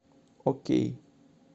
окей